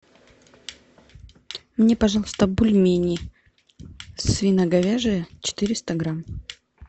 мне пожалуйста бульмени свино говяжьи четыреста грамм